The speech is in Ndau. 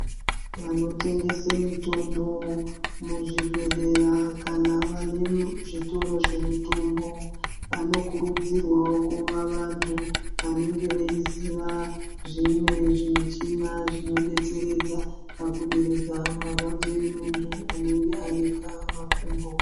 Vanotengese mitombo muzvibhedhleya kana vane zvitoro zvemitombo vanokurudzirwawo kuva vantu vanenge veiziva zvimwe zvemichina zvinodetseredza pakuderedza marwadzo emuntu unenge anika makumbo.